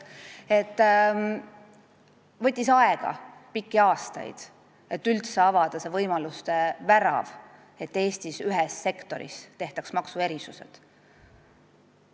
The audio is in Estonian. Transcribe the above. See võttis pikki aastaid aega, et üldse avada see võimaluste värav, et Eesti ühes sektoris tehtaks maksuerisused.